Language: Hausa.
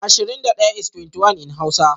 Ashirin da fans is (ashirin da daya) in hausa